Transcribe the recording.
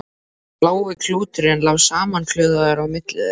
Blái klúturinn lá samankuðlaður á milli þeirra.